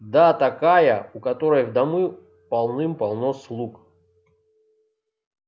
да такая у которой в дому полным-полно слуг